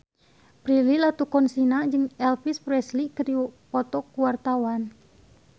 Prilly Latuconsina jeung Elvis Presley keur dipoto ku wartawan